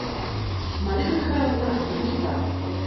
марина михайловна микита